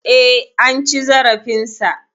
E, an ci zarafinsa.